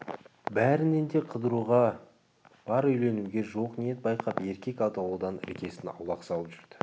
бәрінен де қыдыруға бар үйленуге жоқ ниет байқап еркек атаулыдан іргесін аулақ салып жүрді